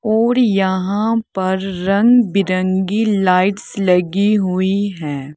और यहा पर रंग बिरंगी लाइटस लगी हुई है।